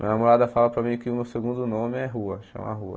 Minha namorada fala para mim que o meu segundo nome é rua, chama rua.